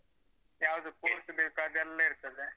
ಯಾವ್ದು post ಬೇಕ ಅದೆಲ್ಲ ಇರ್ತದೆ.